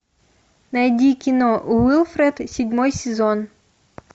найди кино уилфред седьмой сезон